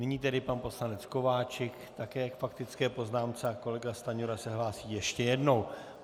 Nyní tedy pan poslanec Kováčik také k faktické poznámce a kolega Stanjura se hlásí ještě jednou.